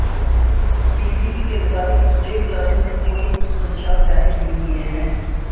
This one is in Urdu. پی سی بی کے مطابق جیف لاسن نے کوئی خدشات ظاہر نہیں کیے ہیں